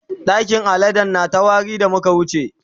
ɗakin aladen na ta wari da muka wuce.